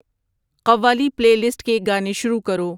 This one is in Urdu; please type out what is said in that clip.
قوالی پلے لسٹ کے گانے شروع کرو